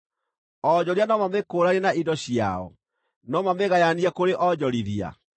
Onjoria no mamĩkũũranie na indo ciao? No mamĩgayanie kũrĩ onjorithia?